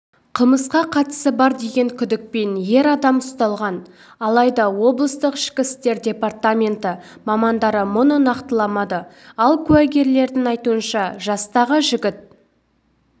қылмысқа қатысы бар деген күдікпен ер адам ұсталған алайда облыстық ішкі істер департаменті мамандары мұны нақтыламады ал куәгерлердің айтуынша жастағы жігіт